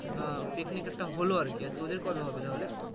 আহ picnic একটা হলো আরকি আর তোদের কবে হবে তাহলে